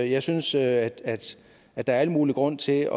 jeg synes at at der er al mulig grund til